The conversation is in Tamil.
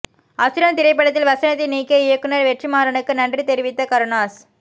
அசுரன் திரைப்படத்தில் வசனத்தை நீக்கிய இயக்குநர் வெற்றிமாறனுக்கு நன்றி தெரிவித்த கருணாஸ்